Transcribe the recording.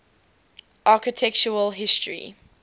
architectural history